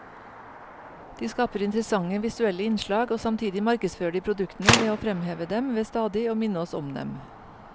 De skaper interessante visuelle innslag, og samtidig markedsfører de produktene ved å fremheve dem ved stadig å minne oss om dem.